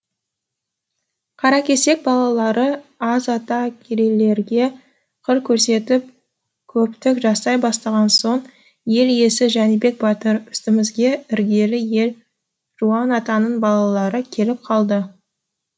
қаракесек балалары аз ата керейлерге қыр көрсетіп көптік жасай бастаған соң ел иесі жәнібек батыр үстімізге іргелі ел жуан атаның балалары келіп қалды